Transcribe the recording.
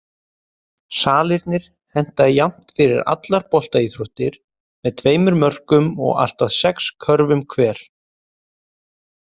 Salirnir henta jafnt fyrir allar boltaíþróttir með tveimur mörkum og allt að sex körfum hver.